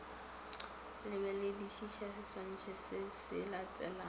lebeledišiša seswantšho se se latelago